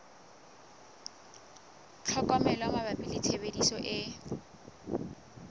tlhokomelo mabapi le tshebediso e